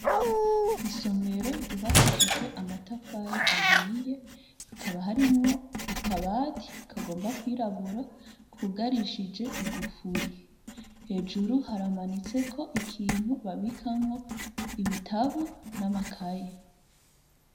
Isomero ryubakishije amatafari ahiye, hakaba harimwo akabati kagomba kwirabura, kugarishije igufuri. Hejuru haramanitseko ikintu babikamwo ibitabu n'amakaye.